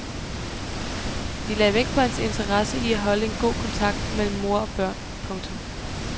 De lagde vægt på hans interesse i at holde en god kontakt mellem mor og børn. punktum